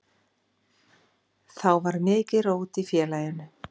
Þá var mikið rót í félaginu.